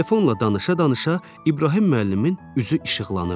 Telefonla danışa-danışa İbrahim müəllimin üzü işıqlanırdı.